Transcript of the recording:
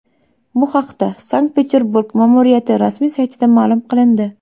Bu haqda Sankt-Peterburg ma’muriyati rasmiy saytida ma’lum qilindi .